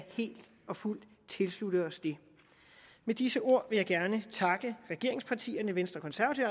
helt og fuldt tilslutte os det med disse ord vil jeg gerne takke regeringspartierne venstre